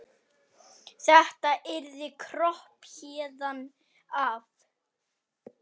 Þetta yrði kropp héðan af.